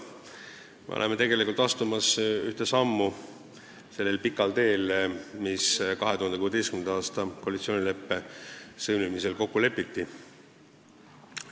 Me oleme tegelikult astumas ühte sammu sellel pikal teel, mis 2016. aasta koalitsioonileppe sõlmimisel kokku lepiti.